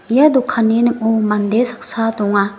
ia dokanni ning·o mande saksa donga.